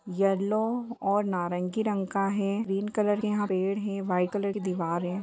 Yellow और नारंगी का रंग का है ग्रीन का कलर पेड़ है वाइट कलर की दिवाल है।